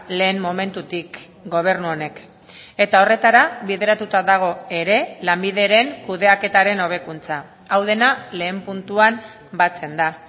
lehen momentutik gobernu honek eta horretara bideratuta dago ere lanbideren kudeaketaren hobekuntza hau dena lehen puntuan batzen da